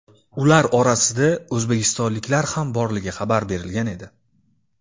Ular orasida o‘zbekistonliklar ham borligi xabar berilgan edi .